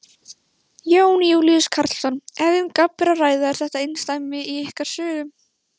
Jón Júlíus Karlsson: Ef um gabb er að ræða, er þetta einsdæmi í ykkar sögu?